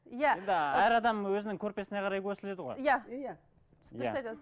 иә енді әр адам өзінің көрпесіне қарай қөсіледі ғой иә иә дұрыс айтасыз